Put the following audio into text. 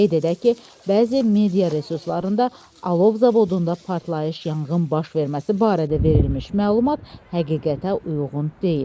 Qeyd edək ki, bəzi media resurslarında Alov zavodunda partlayış yanğın baş verməsi barədə verilmiş məlumat həqiqətə uyğun deyil.